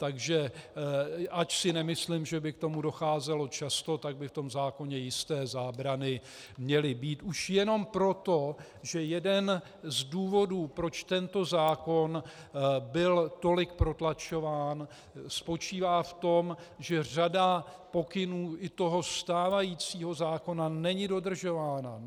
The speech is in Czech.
Takže ač si nemyslím, že by k tomu docházelo často, tak by v tom zákoně jisté zábrany měly být už jenom proto, že jeden z důvodů, proč tento zákon byl tolik protlačován, spočívá v tom, že řada pokynů i toho stávajícího zákona není dodržována.